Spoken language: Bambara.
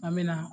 An bɛ na